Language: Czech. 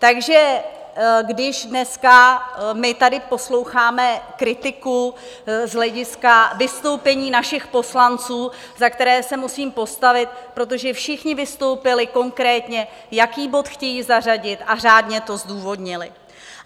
Takže když dneska my tady posloucháme kritiku z hlediska vystoupení našich poslanců, za které se musím postavit, protože všichni vystoupili konkrétně, jaký bod chtějí zařadit, a řádně to zdůvodnili.